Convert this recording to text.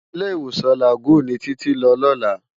Ilé-Iwósán Lágùn ni Titi n lò lòlá